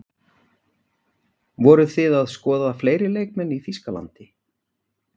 Voruð þið að skoða fleiri leikmenn í Þýskalandi?